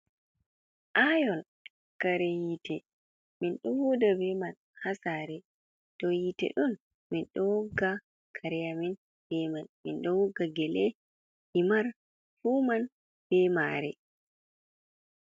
Ayon kare yite, min ɗo huda be man ha sare to yite ɗun, min ɗo wogga kare amin be man, min ɗo wugga gele himar fu man be mare.